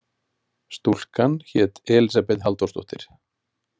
Stúlkan hét Elísabet Halldórsdóttir.